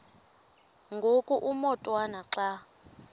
ngoku umotwana xa